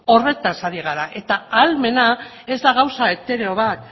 horretaz ari gara eta ahalmena ez da gauza etereo bat